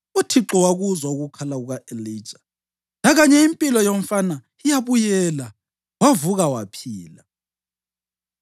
UThixo wakuzwa ukukhala kuka-Elija lakanye impilo yomfana yabuyela, wavuka waphila.